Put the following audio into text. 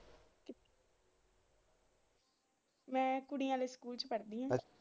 ਮੈ ਕੁੜੀਆਂ ਦੇ ਸਕੂਲ ਪੜਦੀ ਆ।